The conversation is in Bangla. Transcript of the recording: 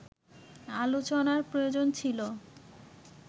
আলোচনার প্রয়োজন ছিল